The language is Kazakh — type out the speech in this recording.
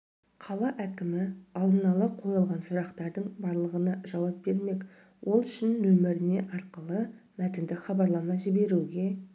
қала әкімі алдын ала қойылған сұрақтардың барлығына жауап бермек ол үшін нөміріне арқылы мәтіндік хабарлама жіберуге